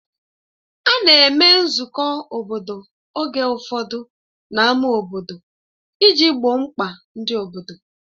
A na-eme nzukọ obodo oge ụfọdụ n'ámá obodo iji gboo mkpa ndị obodo.